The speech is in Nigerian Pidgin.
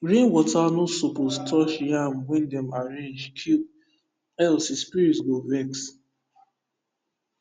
rainwater no suppose touch yam wey dem arrange keep else e spirit go vex